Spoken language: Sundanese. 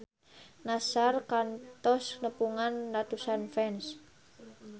Nassar kantos nepungan ratusan fans